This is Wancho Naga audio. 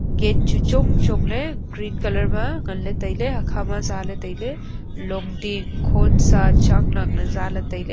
gate chu chong chong ley green colour ma ngan tailey hakha zaley tailey.